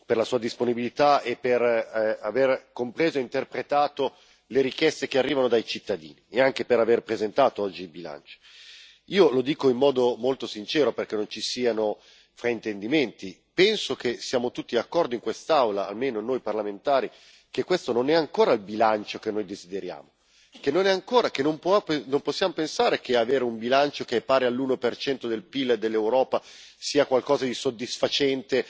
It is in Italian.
Lo ringrazio per la sua disponibilità e per aver compreso e interpretato le richieste che arrivano dai cittadini e anche per aver presentato oggi il bilancio. Io lo dico in modo molto sincero, perché non ci siano fraintendimenti penso che siamo tutti d'accordo in quest'Aula, almeno noi parlamentari, che questo non è ancora il bilancio che noi desideriamo, perché non possiamo pensare che un bilancio pari all'1 del Pil dell'Europa sia qualcosa di soddisfacente